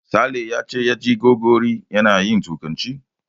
Sale ya ce ya ji Gogori yana yin Turkanci.